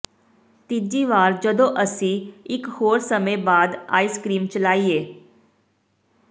ਤੀਜੀ ਵਾਰ ਜਦੋਂ ਅਸੀਂ ਇਕ ਹੋਰ ਸਮੇਂ ਬਾਅਦ ਆਈਸ ਕਰੀਮ ਚਲਾਈਏ